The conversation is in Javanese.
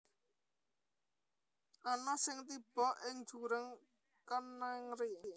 Ana sing tiba ing jurang kenèng ri